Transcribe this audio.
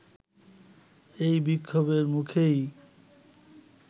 এই বিক্ষোভের মুখেই